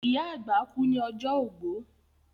ìyá àgbà kú ní ọjọ́ ogbó.